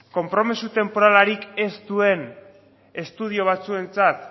konpromezu tenporalarik ez duen estudio batzuentzat